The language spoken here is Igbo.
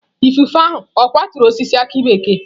Ifufe ahụ ọ̀ kwaturu osisi aki bekee?